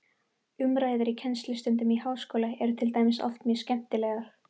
Umræður í kennslustundum í háskóla eru til dæmis oft mjög skemmtilegar.